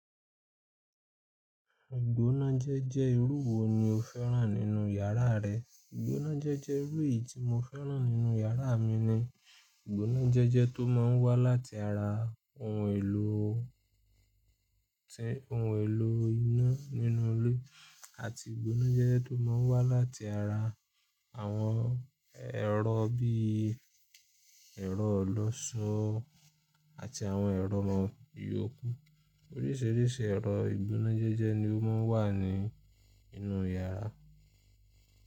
Ìgbónájẹ́jẹ́ irú wo ni o fẹ́ràn nínú yàrá rẹ? Ìgbónájẹ́jẹ́ irú yìí tí mo fẹ́ràn nínú yàrá mi ni ìgbónájẹ́jẹ́ tó máa ń wá láti ara ohun èlò tí ohun èlò iná nínú ilé àti ìgbónájẹ́jẹ́ tó máa ń wá láti ara àwọn ẹ̀rọ bí ẹ̀rọ ọlọṣọ àti àwọn ẹ̀rọ ìyókù. Oríṣiríṣi ẹ̀rọ ìgbónájẹ́jẹ́ ni ó máa ń wà nínú yàrá.